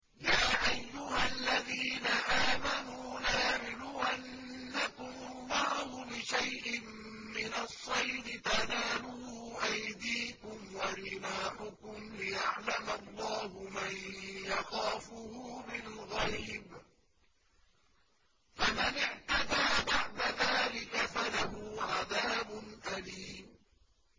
يَا أَيُّهَا الَّذِينَ آمَنُوا لَيَبْلُوَنَّكُمُ اللَّهُ بِشَيْءٍ مِّنَ الصَّيْدِ تَنَالُهُ أَيْدِيكُمْ وَرِمَاحُكُمْ لِيَعْلَمَ اللَّهُ مَن يَخَافُهُ بِالْغَيْبِ ۚ فَمَنِ اعْتَدَىٰ بَعْدَ ذَٰلِكَ فَلَهُ عَذَابٌ أَلِيمٌ